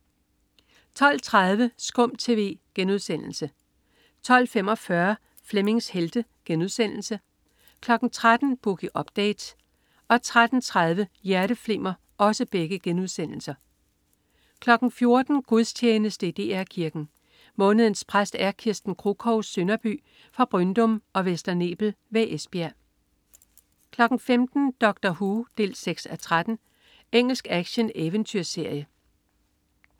12.30 SKUM TV* 12.45 Flemmings Helte* 13.00 Boogie Update* 13.30 Hjerteflimmer* 14.00 Gudstjeneste i DR Kirken. Månedens præst er Kirsten Kruchov Sønderby fra Bryndum og Vester Nebel ved Esbjerg 15.00 Doctor Who 6:13. Engelsk action-eventyrserie